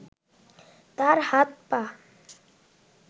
তার হাত-পা